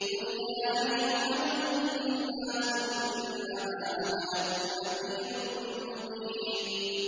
قُلْ يَا أَيُّهَا النَّاسُ إِنَّمَا أَنَا لَكُمْ نَذِيرٌ مُّبِينٌ